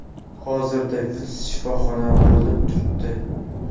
Hozirda Vuds shifoxonada bo‘lib turibdi.